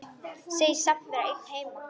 Segist samt vera einn heima.